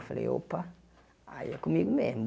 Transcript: Falei, opa, aí é comigo mesmo.